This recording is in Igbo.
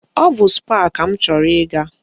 Ọ bụ Spáà ka m chọrọ ịga